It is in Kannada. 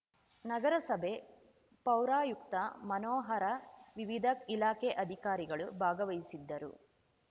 ನಗರಸಭೆ ಪೌರಾಯುಕ್ತ ಮನೋಹರ ವಿವಿಧ ಇಲಾಖೆ ಅಧಿಕಾರಿಗಳು ಭಾಗವಹಿಸಿದ್ದರು